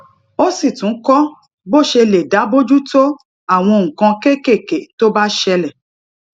ó sì tún kó bó ṣe lè dá bójú tó àwọn nǹkan kéékèèké tó bá ṣẹlè